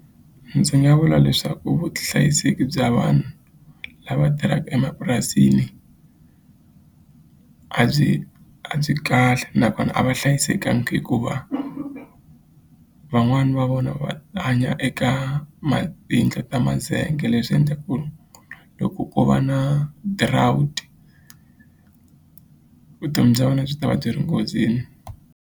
Ndzi nga vula leswaku vuhlayiseki bya vanhu lava tirhaka emapurasini a byi a byi kahle nakona a va hlayisekangi hikuva van'wani va vona va hanya eka tiyindlu ta mazenge leswi endla ku loko u va drought vutomi bya vona byi ta va byi ri nghozini.